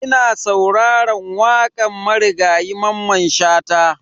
Ina sauraran wakan Marigayi Mamman Shata.